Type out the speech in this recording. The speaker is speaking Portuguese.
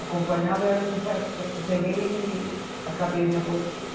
Acompanhava, aí eu peguei e acabei a minha botique.